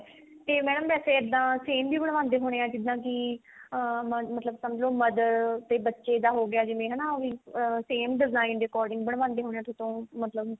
ਤੇ madam ਵੇਸੇ ਇੱਦਾਂ same ਜੇ ਬਣਵਾਉਂਦੇ ਹੋਣੇ ਆ ਜਿੱਦਾਂ ਕੀ ਅਹ ਮਤਲਬ ਸਮਝੋ mother ਤੇ ਬੱਚੇ ਦਾ ਹੋਗਿਆ ਜਿਵੇਂ ਅਹ same design ਦੇ according ਬਣਵਾਉਂਦੇ ਹੋਣੇ ਆ ਥੋਡੇ ਤੋਂ ਮਤਲਬ